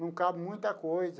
Não cabe muita coisa.